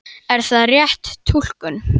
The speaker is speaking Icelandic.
Er það rétt túlkun?